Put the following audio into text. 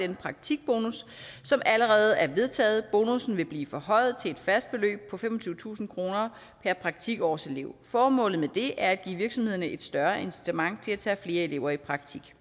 den praktikbonus som allerede er vedtaget bonussen vil blive forhøjet til et fast beløb på femogtyvetusind kroner per praktikårselev formålet med det er at give virksomhederne et større incitament til at tage flere elever i praktik